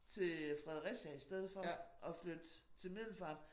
Til øh Fredericia i stedet for at flytte til Middelfart